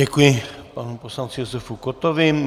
Děkuji panu poslanci Josefu Kottovi.